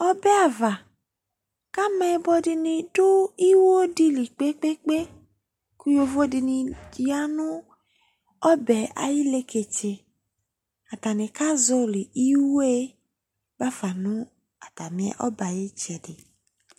Ɔbɛ ava kʋ ameyibɔ dɩnɩ dʋ iwo dɩ li kpe-kpe-kpe kʋ yovo dɩnɩ ya nʋ ɔbɛ yɛ ayʋ ileketse Atanɩ kazɔɣɔlɩ iwo yɛ ba fa nʋ atamɩ, ɔbɛ ayʋ ɩtsɛdɩ